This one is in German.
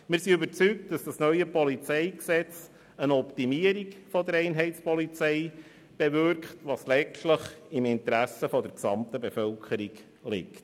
Wir sind überzeugt, dass das neue PolG eine Optimierung der Einheitspolizei bewirkt, was letztlich im Interesse der gesamten Bevölkerung liegt.